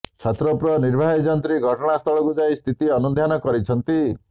ଛତ୍ରପୁର ନିର୍ବାହୀ ଯନ୍ତ୍ରୀ ଘଟଣାସ୍ଥଳକୁ ଯାଇ ସ୍ଥିତି ଅନୁଧ୍ୟାନ କରିଛନ୍ତି